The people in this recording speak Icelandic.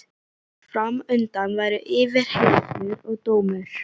Fram undan væru yfirheyrslur og dómur.